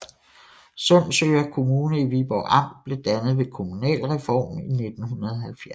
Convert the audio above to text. Sundsøre Kommune i Viborg Amt blev dannet ved kommunalreformen i 1970